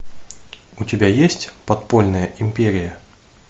у тебя есть подпольная империя